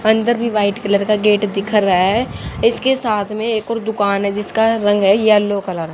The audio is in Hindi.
अंदर भी वाइट कलर का गेट दिखा रहा है इसके साथ में एक और दुकान है जिसका रंग है येलो कलर ।